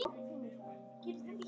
haft þeim jafnt í minnum.